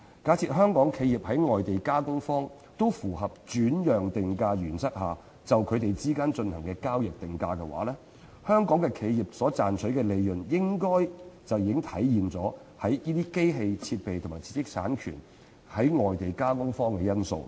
假設香港企業及外地加工方均在符合轉讓定價原則下就他們之間進行的交易定價，香港企業賺取的利潤應已體現其提供機器設備及知識產權予外地加工方的因素。